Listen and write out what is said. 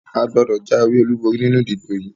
A gbọ́dọ̀ jáwé olúborí nínú ìdìbò yìí!